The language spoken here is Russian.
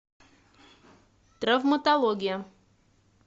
травматология